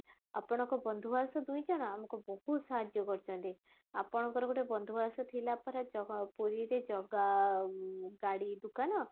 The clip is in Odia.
ଆପଣନଙ୍କ ବନ୍ଧୁଆସ ଦୁଇଜଣ ଆମକୁ ବହୁତ ସାହାର୍ଯ୍ୟ କରୁଛନ୍ତି ଆପଣଙ୍କର ଗୋଟେ ବନ୍ଧୁଆସ ଥିଲା ପରା ପୁରୀରେ ଜଗା ଗାଡି ଦୁକାନ